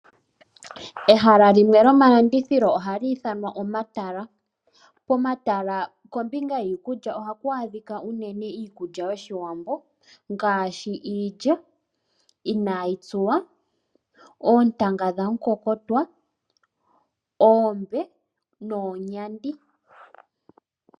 Ehala limwe lyomalandithilo oha li ithanwa omatala. Pomahala kombinga yiikulya oha ku adhika unene iikulya yOshiwambo ngaashi iilya ina yi tsuwa, oontanga dhamukokotwa, oombe noonyandi.